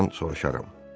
Kardinaldan soruşaram.